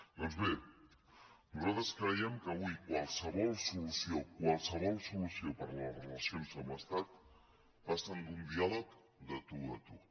doncs bé nosaltres creiem que avui qualsevol solució qualsevol solució per a les relacions amb l’estat passa per un diàleg de tu a tu